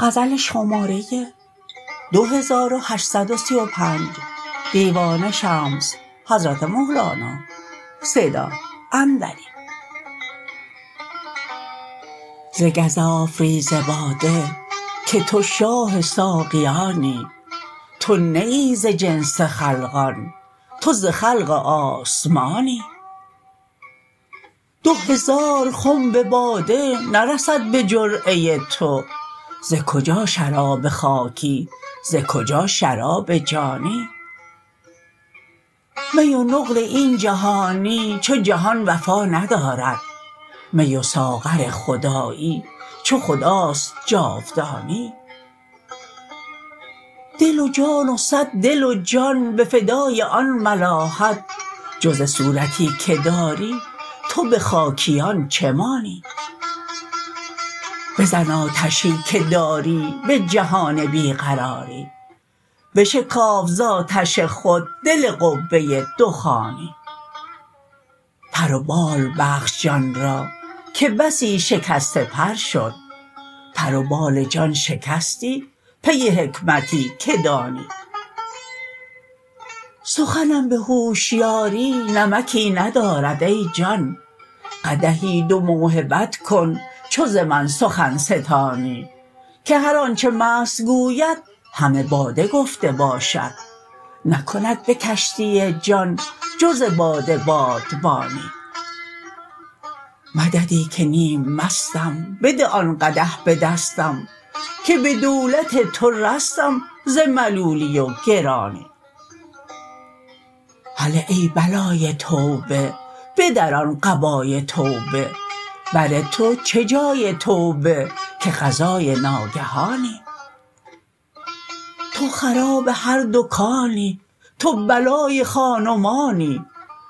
ز گزاف ریز باده که تو شاه ساقیانی تو نه ای ز جنس خلقان تو ز خلق آسمانی دو هزار خنب باده نرسد به جرعه تو ز کجا شراب خاکی ز کجا شراب جانی می و نقل این جهانی چو جهان وفا ندارد می و ساغر خدایی چو خداست جاودانی دل و جان و صد دل و جان به فدای آن ملاحت جز صورتی که داری تو به خاکیان چه مانی بزن آتشی که داری به جهان بی قراری بشکاف ز آتش خود دل قبه دخانی پر و بال بخش جان را که بسی شکسته پر شد پر و بال جان شکستی پی حکمتی که دانی سخنم به هوشیاری نمکی ندارد ای جان قدحی دو موهبت کن چو ز من سخن ستانی که هر آنچ مست گوید همه باده گفته باشد نکند به کشتی جان جز باده بادبانی مددی که نیم مستم بده آن قدح به دستم که به دولت تو رستم ز ملولی و گرانی هله ای بلای توبه بدران قبای توبه بر تو چه جای توبه که قضای ناگهانی تو خراب هر دکانی تو بلای خان و مانی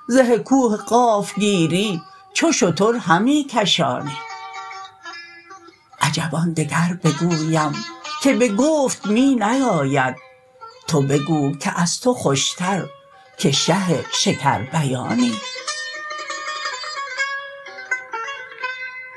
زه کوه قاف گیری چو شتر همی کشانی عجب آن دگر بگویم که به گفت می نیاید تو بگو که از تو خوشتر که شه شکربیانی